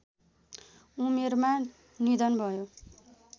उमेरमा निधन भयो